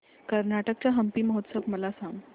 कर्नाटक चा हम्पी महोत्सव मला सांग